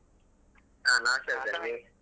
ಹಾ ನಾನ್ ಹುಷಾರಾಗಿದ್ದೇನೆ ನೀವು?